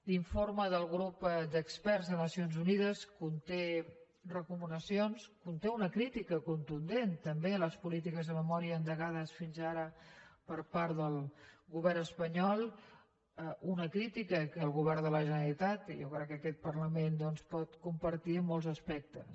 l’informe del grup d’experts de nacions unides conté recomanacions conté una crítica contundent també a les polítiques de memòria endegades fins ara per part del govern espanyol una crítica que el govern de la generalitat i jo crec que aquest parlament doncs pot compartir en molts aspectes